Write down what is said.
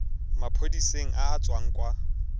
maphodiseng a a tswang kwa